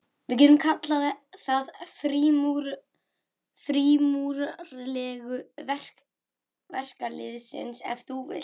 Við getum kallað það frímúrarareglu verkalýðsins, ef þú vilt.